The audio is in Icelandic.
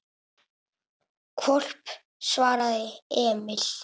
Hvolp, svaraði Emil.